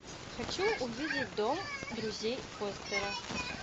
хочу увидеть дом друзей фостера